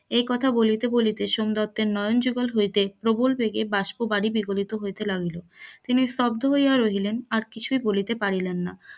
এই কথা বলিতে বলিতে সোমদত্তের নয়ন যুগল হইতে প্রবল বেগে বাস্প বাড়ি বিগলিত হইতে লাগিল, তিনি স্তব্ধ হইয়া রইলেন কিছুই বলিতে পারিলেন না,